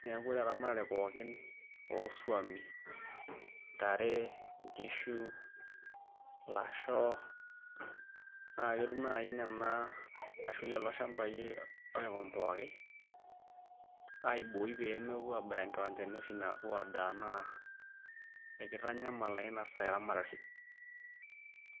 neeku ore eramatare pooki ooswami, intare ,inkishu, ilasho naa ketum naai lelo shambai oikombowaki aibooi pee mepuo aabaya nkiwanjani oshi naapuo aadaa naa ekitanyamal naa inasaa eramatare.